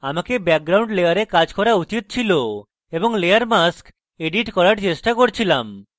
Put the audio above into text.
আমাকে background layer কাজ করা উচিত ছিল এবং layer mask edit করার চেষ্টা করছিলাম